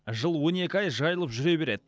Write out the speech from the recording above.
жыл он екі ай жайылып жүре береді